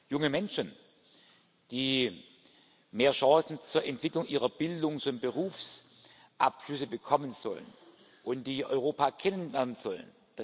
Junge Menschen, die mehr Chancen zur Entwicklung ihrer Bildungs und Berufsabschlüsse bekommen sollen und die Europa kennenlernen sollen.